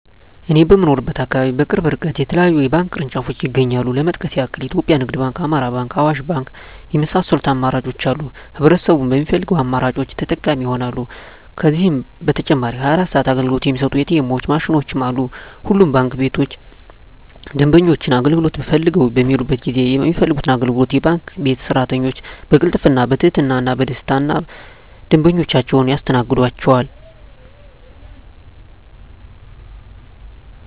እኔ በምኖርበት አካባቢ በቅርብ እርቀት የተለያዩ የባንክ ቅርንጫፎች ይገኛሉ ለመጥቀስ ያክል ኢትዮጵያ ንግድ ባንክ፣ አማራ ባንክ፣ አዋሽ ባንክ የመሳሰሉት አማራጮች አሉ ህብረተሰቡም በሚፈልገው አማራጮች ተጠቃሚ ይሆናሉ። ከዛም በተጨማሪ 24 ሰዓት አገልግሎት የሚሰጡ ኢ.ቲ. ኤምዎች ማሽኖችም አሉ። ሁሉም ባንክ ቤቶች ደንበኞች አገልግሎት ፈልገው በሚሔዱበት ጊዜ የሚፈልጉትን አገልግሎት የባንክ ቤት ሰራተኞች በቅልጥፍና፣ በትህትና እና በደስታና ደንበኞቻቸውን ያስተናግዷቸዋል! ዠ።